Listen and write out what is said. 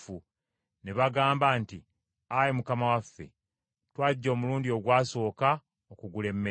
ne bagamba nti Ayi mukama waffe, twajja omulundi ogwasooka okugula emmere,